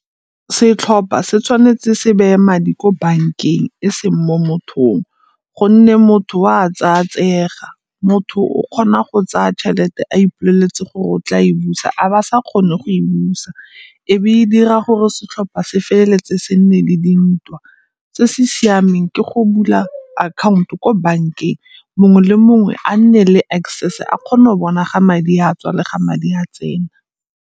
Setlhopha se tshwanetse se beye madi ko bankeng e seng mo mothong gonne motho o a tsaya tseega. Motho o kgona go tsaya tšhelete a ipoleletse gore o tla e busa a ba sa kgone go e busa ebe e dira gore setlhopa se feleletse se nne le dintwa. Se se siameng ke go bula akhaonto ko bankeng mongwe le mongwe a nne le access a kgone go bona ga madi a tswa le ga madi a tsena.